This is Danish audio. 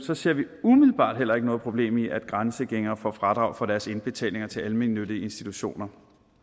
så ser vi umiddelbart heller ikke noget problem i at grænsegængere får fradrag for deres indbetalinger til almennyttige institutioner